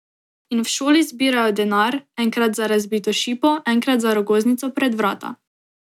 In v šoli zbirajo denar, enkrat za razbito šipo, enkrat za rogoznico pred vrata.